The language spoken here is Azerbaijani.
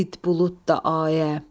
did bulud da ayə.